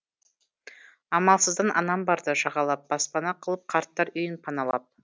амалсыздан анам барды жағалап баспана қылып қарттар үйін паналап